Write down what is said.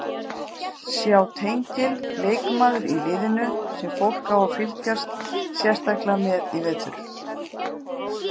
Sjá tengil Leikmaður í liðinu sem fólk á að fylgjast sérstaklega með í vetur?